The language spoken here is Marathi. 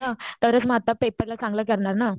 ह्ह तरच म आता पेपर ला चांगलं करणार ना.